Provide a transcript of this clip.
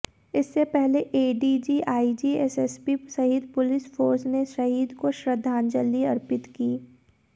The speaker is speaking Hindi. इससे पहले एडीजी आईजी एसएसपी सहित पुलिस फोर्स ने शहीद को श्रद्धांजलि अर्पित की